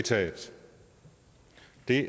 vi